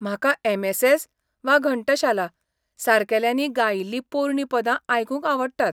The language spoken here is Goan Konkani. म्हाका एम.एस.एस. वा घंटशाला सारकेल्यांनी गायिल्ली पोरणीं पदां आयकूंक आवडटात.